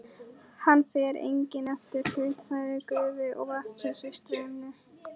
Hann fer einnig eftir hlutfalli gufu og vatns í streyminu.